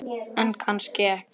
En kannski ekki.